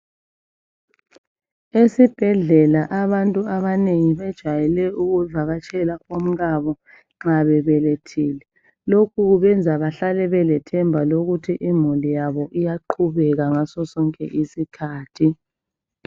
Esibhedlela abantu abanengi bejwayele ukuvakatshela omkabo nxa bebelethile, lokhu kubenza bahlale belethemba lokuthi imuli yabo liyaqhubeka ngasosonke isikhathi.